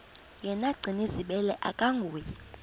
yena gcinizibele akanguye